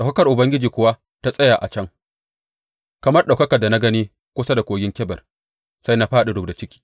Ɗaukakar Ubangiji kuwa ta tsaya a can, kamar ɗaukakar da na gani kusa da Kogin Kebar, sai na fāɗi rubda ciki.